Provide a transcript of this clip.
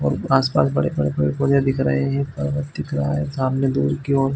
और आस पास बड़े पेड़-पौधे दिख रहे है एक पर्वत दिख रखा है सामने दूर की ओर--